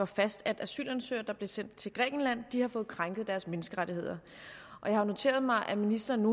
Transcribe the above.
fast at asylansøgere der er sendt til grækenland har fået krænket deres menneskerettigheder jeg har noteret mig at ministeren